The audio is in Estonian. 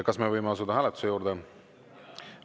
Kas me võime asuda hääletuse juurde?